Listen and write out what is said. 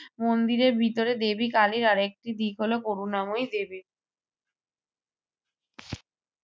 মন্দিরের ভিতরে দেবী কালীর আর একটি দিক হল করুণাময়ী দেবী।